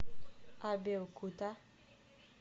абеокута